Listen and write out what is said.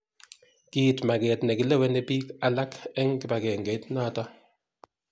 Kiit maket nekileweni bik alak eng kibagengeit noto.